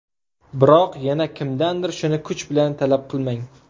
Biroq yana kimdandir shuni kuch bilan talab qilmang.